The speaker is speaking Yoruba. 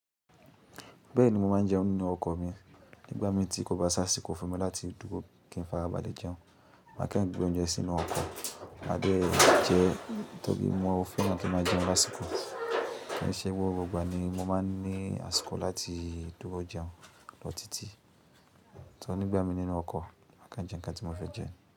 Bẹ́ẹ̀ni mo máa n jẹun nínú ọkọ̀ mi. Nígbà mí tí kò bá ṣá àsìkò fún mi láti dúró kí n fàrá ba lè jẹun, màá kan gbé oúnjẹ sínú ọkọ̀ má dé jẹ tórí mo fẹ́ràn kí n máa jẹun lásìkò. Ṣé gbogbo ìgbà ni mo máa n ní àsìkò láti dúró jẹun lọ́ọ̀tí tì to nígbà mí nínú ọkọ̀ máa kan jẹ nǹkan tí mo fẹ́ jẹ.